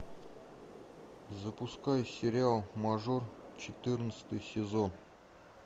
запускай сериал мажор четырнадцатый сезон